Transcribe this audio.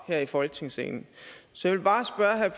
her i folketingssalen så